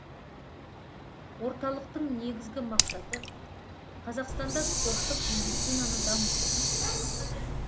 орталықтың негізгі мақсаты қазақстанда спорттық медицинаны дамыту